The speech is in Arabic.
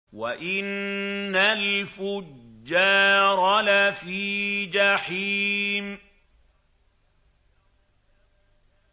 وَإِنَّ الْفُجَّارَ لَفِي جَحِيمٍ